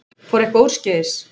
Fór eitthvað úrskeiðis?